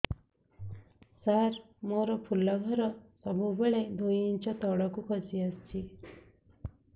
ସାର ମୋର ଫୁଲ ଘର ସବୁ ବେଳେ ଦୁଇ ଇଞ୍ଚ ତଳକୁ ଖସି ଆସିଛି